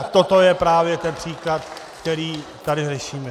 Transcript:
A toto je právě ten příklad, který tady řešíme.